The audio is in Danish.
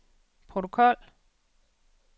protokol